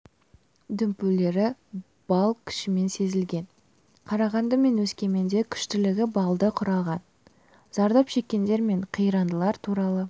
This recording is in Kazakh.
дүмпулері балл күшпен сезілген қарағанды мен өскеменде күштілігі баллды құраған зардап шеккендер мен қирандылар туралы